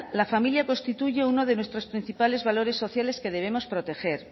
la familia constituye uno de los nuestros principales valores sociales que debemos proteger